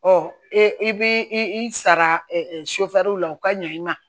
Ɔ i bɛ i sara la u ka ɲɛ i ma